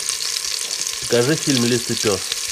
покажи фильм лис и пес